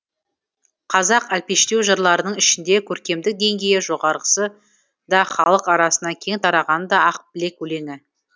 қазақ әлпештеу жырларының ішінде көркемдік деңгейі жоғарғысы да халық арасына кең тарағаны да ақ білек өлеңі